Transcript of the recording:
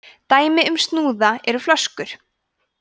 dæmi um snúða eru flöskur